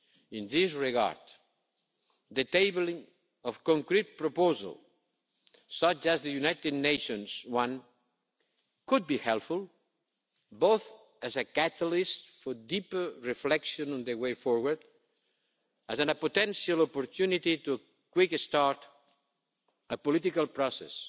In this regard, the tabling of concrete proposals, such as the United States one, could be helpful, both as a catalyst for deeper reflection on the way forward and as a potential opportunity to quick start a political process